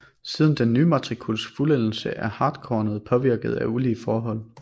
Siden den ny matrikuls fuldendelse er hartkornet påvirket af ulige forhold